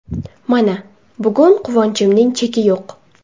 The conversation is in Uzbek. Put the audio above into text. Mana, bugun quvonchimning cheki yo‘q.